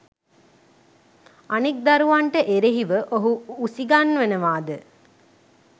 අනෙක් දරුවන්ට එරෙහිව ඔහු උසිගන්වනවාද?